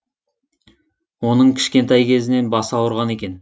оның кішкентай кезінен басы ауырған екен